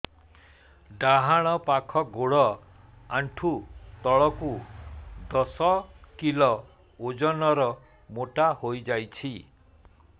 ଡାହାଣ ପାଖ ଗୋଡ଼ ଆଣ୍ଠୁ ତଳକୁ ଦଶ କିଲ ଓଜନ ର ମୋଟା ହେଇଯାଇଛି